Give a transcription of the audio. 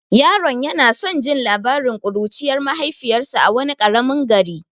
Yaron yana son jin labarin kuruciyar mahaifiyarsa a wani karamin gari.